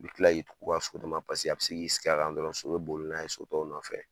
I bɛ kila y'i tugu ka so d'a ma paseke a bɛ se k'i sigi a kan dɔrɔn so bɛ boli n'a ye so tɔw nɔfɛ.